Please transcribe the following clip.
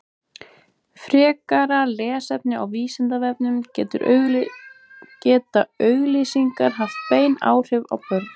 frekara lesefni á vísindavefnum geta auglýsingar haft bein áhrif á börn